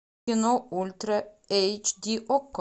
кино ультра эйч ди окко